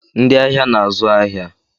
Ndị ahịa na-azụ ahịa.